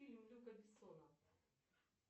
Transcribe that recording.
фильм люка бессона